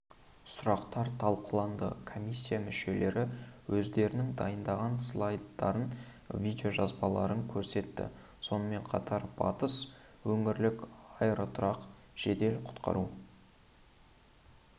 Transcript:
сұрақтар талқыланды комиссия мүшелері өздерінің дайындаған слайдтарын видеожазбаларын көрсетті сонымен қатар батыс өңірлік аэроұтқыр жедел-құтқару